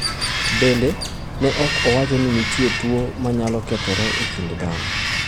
Bende, ne ok owacho ni nitie tuwo ma nyalo kethore e kind dhano.